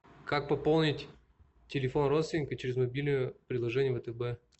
как пополнить телефон родственника через мобильное приложение втб